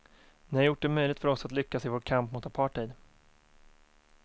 Ni har gjort det möjligt för oss att lyckas i vår kamp mot apartheid.